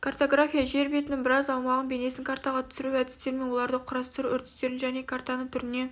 картография жер бетінің біраз аумағының бейнесін картаға түсіру әдістері мен оларды құрастыру үрдістерін және картаны түріне